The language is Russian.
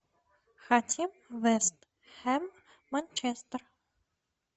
хотим вест хэм манчестер